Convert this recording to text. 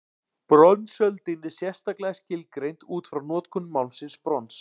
Bronsöldin er sérstaklega skilgreind útfrá notkun málmsins brons.